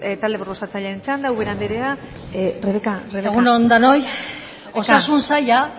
talde proposatzailearen txanda ubera anderea rebeka hamar minutu bakarrik egun on denoi osasun saila